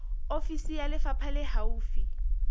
ofisi ya lefapha le haufi